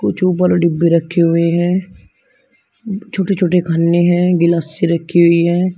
कुछ ऊपर डिब्बे रखे हुए हैं। उम्म छोटे छोटे खन्ने हैं। गिलासें रखी हुई हैं।